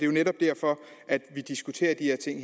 jo netop derfor at vi diskuterer de her ting